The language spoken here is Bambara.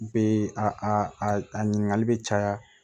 Bee a ɲininkali be caya